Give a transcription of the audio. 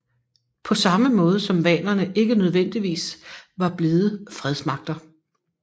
På samme måde som vanerne ikke nødvendigvis var blide fredsmagter